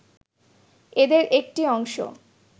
এদের একটি অংশ